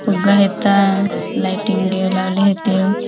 फुगा हेतालाइटिंग लावले होतेव.